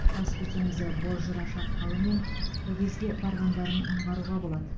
каспий теңізі бозжыра шатқалы мен көгезге барғандарын аңғаруға болады